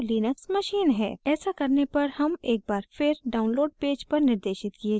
ऐसा करने पर हम एक बार फिर download पेज पर निर्देशित किये जायेंगे